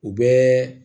U bɛɛ